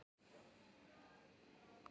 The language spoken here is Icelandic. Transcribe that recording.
En við biðum bara.